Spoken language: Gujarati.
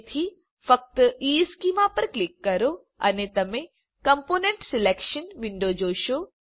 તેથી ફક્ત ઇશ્ચેમાં પર ક્લિક કરો અને તમે કોમ્પોનન્ટ સિલેક્શન વિન્ડો જોશો